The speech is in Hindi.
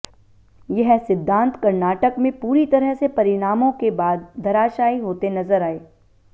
यह सिद्धांत कर्नाटक में पूरी तरह से परिणामों के बाद धराशायी होते नजर आए